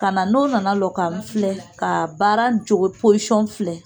Ka na n'o nana lɔ ka n filɛ ka baara in cogo posɔn filɛ